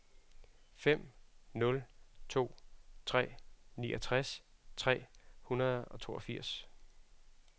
fem nul to tre niogtres tre hundrede og toogfirs